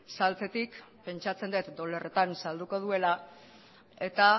saltzetik pentsatzen dut dolarretan salduko duela eta